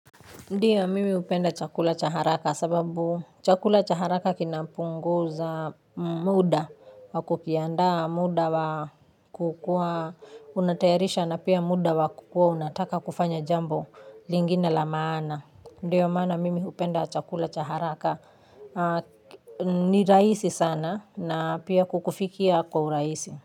Ndiyo mimi upenda chakula cha haraka sababu chakula cha haraka kinapunguza mda wakukianda mda wakukuwa unatayarisha na pia mda wakukuwa unataka kufanya jambo lingine la maana. Ndiyo maana mimi hupenda chakula cha haraka ni rahisi sana na pia kukufikia kwa urahisi.